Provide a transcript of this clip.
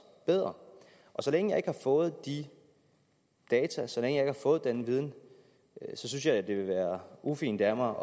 bedre og så længe jeg ikke har fået de data og så længe jeg ikke har fået den viden så synes jeg at det ville være ufint af mig